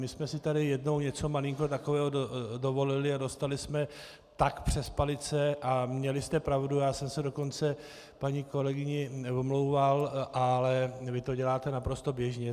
My jsme si tady jednou něco malinko takového dovolili a dostali jsme tak přes palice, a měli jste pravdu, já jsem se dokonce paní kolegyni omlouval, ale vy to děláte naprosto běžně.